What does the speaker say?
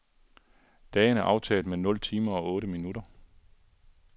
Dagen er aftaget med nul timer og otte minutter.